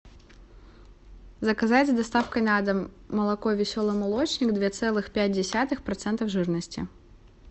заказать с доставкой на дом молоко веселый молочник две целых пять десятых процентов жирности